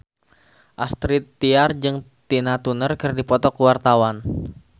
Astrid Tiar jeung Tina Turner keur dipoto ku wartawan